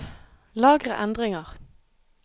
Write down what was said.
Lagre endringer